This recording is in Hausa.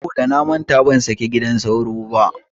Saboda namanta ban saki gidan sauro ba.